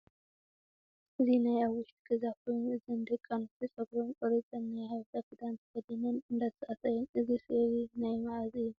እዚ ናይ ኣብ ውሽጢ ገዛ ኮይኑ እዘን ደቁ ኣንስትዮ ፀጉረን ቆሪፀን ናይ ሓበሻ ክደን ተከዲነን እንዳተፃወታ እየን። እዚ ስእሊ እዚ ናይ መዓስ እዩ ?